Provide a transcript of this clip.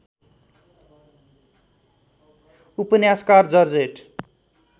उपन्यासकार जर्जेट